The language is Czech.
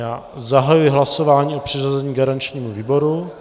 Já zahajuji hlasování o přiřazení garančnímu výboru.